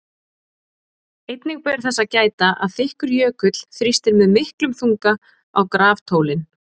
Einnig ber þess að gæta að þykkur jökull þrýstir með miklum þunga á graftólin.